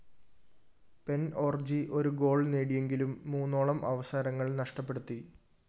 pen ഓര്‍ജി ഒരു goal നേടിയെങ്കിലും മൂന്നോളം അവസരങ്ങള്‍ നഷ്ടപ്പെടുത്തി